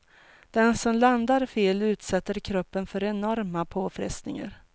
Den som landar fel utsätter kroppen för enorma påfrestningar.